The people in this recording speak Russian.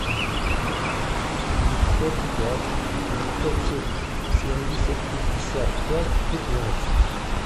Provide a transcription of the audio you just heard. девятьсот пять девятьсот семьдесят пятьдесят пять пятнадцать